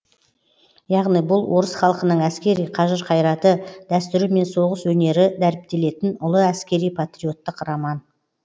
яғни бұл орыс халқының әскери қажыр қайраты дәстүрі мен соғыс өнері дәріптелетін ұлы әскери патриоттық роман